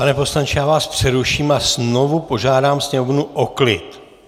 Pane poslanče, já vás přeruším a znovu požádám sněmovnu o klid!